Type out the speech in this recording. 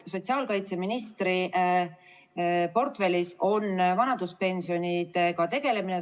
Sotsiaalkaitseministri portfellis on vanaduspensionidega tegelemine.